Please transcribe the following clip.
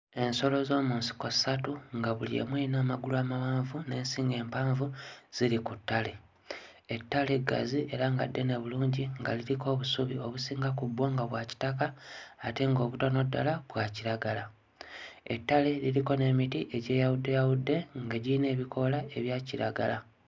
Ensolo z'omu nsiko ssatu nga buli emu eyina amagalu amawanvu n'ensingo empanvu ziri ku ttale, ettale ggazi era nga ddene bulungi nga liriko obusubi obusinga ku bwo nga bwa kitaka ate nga obutono ddala bwa kiragala, ettale liriko n'emiti egyeyawuddeyawudde nga giyina ebikoola ebya kiragala.